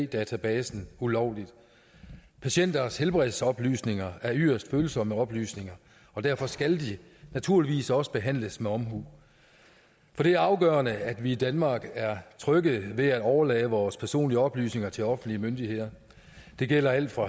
databasen ulovligt patienters helbredsoplysninger er yderst følsomme oplysninger og derfor skal de naturligvis også behandles med omhu for det er afgørende at vi i danmark er trygge ved at overlade vores personlige oplysninger til offentlige myndigheder det gælder alt fra